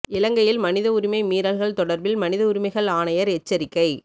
இலங்கையின் மனித உரிமை மீறல்கள் தொடர்பில் மனித உரிமைகள் ஆணையாளர் எச்சரிக்கை